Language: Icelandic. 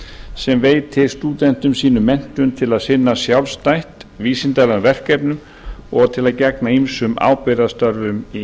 sem veitir stúdentum sínum menntum til að sinna sjálfstætt vísindalegum verkefnum og gegna ýmsum ábyrgðarstörfum í